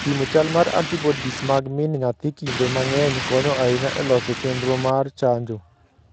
Pimo chal mar antibodies mag min nyathi kinde mang'eny konyo ahinya e loso chenro mar chanjo.